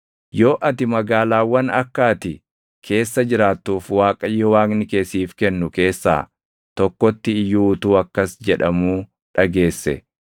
Yoo ati magaalaawwan akka ati keessa jiraattuuf Waaqayyo Waaqni kee siif kennu keessaa tokkotti iyyuu utuu akkas jedhamuu dhageesse,